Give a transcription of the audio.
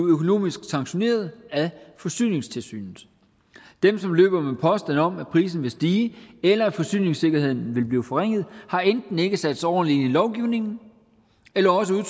økonomisk sanktioneret af forsyningstilsynet dem som løber med påstande om at prisen vil stige eller at forsyningssikkerheden vil blive forringet har ikke ikke sat sig ordentligt lovgivningen eller også er